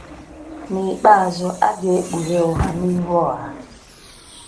N’ikpeazụ, a ga-ekpughe ụgha n’ihu ọha.